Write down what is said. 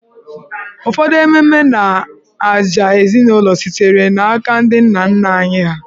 Ụfọdụ ememe na ajà ezinụlọ sitere n'aka ndị nna nna ha.